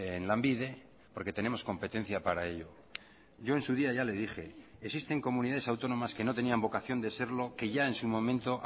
en lanbide porque tenemos competencia para ello yo en su día ya le dije existen comunidades autónomas que no tenían vocación de serlo que ya en su momento